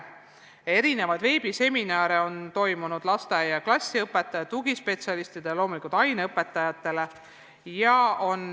Korraldatud on erinevaid veebiseminare lasteaia- ja klassiõpetajatele, tugispetsialistidele, loomulikult aineõpetajatele.